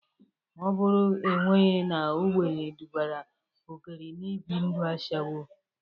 Ọ bụrụ enweghi na ogbenye dubara Ogeri n'ibi ndu ashawo.